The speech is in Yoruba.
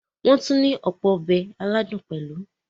Wọ́n tún ní ọ̀pọ̀ “Ọbẹ̀" aládùn pẹ̀lú.